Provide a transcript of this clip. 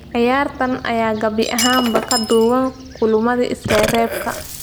Ciyaartan ayaa gabi ahaanba ka duwan kulamadii isreebreebka.